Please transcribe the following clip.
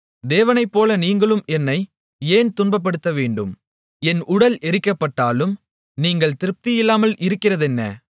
தேவனைப்போல நீங்களும் என்னை ஏன் துன்பப்படுத்தவேண்டும் என் உடல் எரிக்கப்பட்டாலும் நீங்கள் திருப்தியில்லாமல் இருக்கிறதென்ன